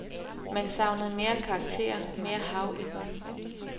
Man savnede mere karakter, mere hav i den.